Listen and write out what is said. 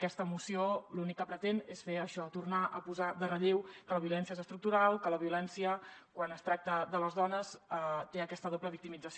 aquesta moció l’únic que pretén és fer això tornar a posar de relleu que la violència és estructural que la violència quan es tracta de les dones té aquesta doble victimització